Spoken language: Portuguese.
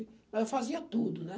Eu fazia tudo, né?